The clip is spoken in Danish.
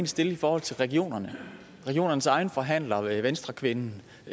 stille i forhold til regionerne regionernes egen forhandler venstrekvinden